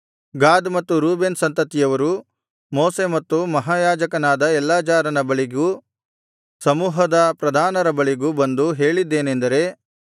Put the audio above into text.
ಗಾದ್ ಮತ್ತು ರೂಬೇನ್ ಸಂತತಿಯವರು ಮೋಶೆ ಮತ್ತು ಮಹಾಯಾಜಕನಾದ ಎಲ್ಲಾಜಾರನು ಬಳಿಗೂ ಸಮೂಹದ ಪ್ರಧಾನರ ಬಳಿಗೂ ಬಂದು ಹೇಳಿದ್ದೇನೆಂದರೆ